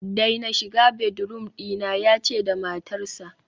daina shiga bedroom dina, yace da matarsa